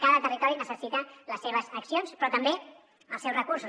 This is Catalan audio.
cada territori necessita les seves accions però també els seus recursos